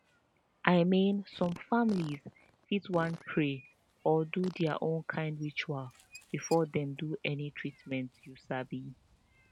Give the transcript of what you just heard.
i mean some families fit wan pray or do their own kind ritual before dem do any treatment you sabi